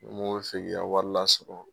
Mɔgɔw bɛ se k'i ka wari la sɔrɔ.